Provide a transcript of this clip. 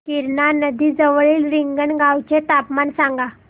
गिरणा नदी जवळील रिंगणगावाचे तापमान सांगा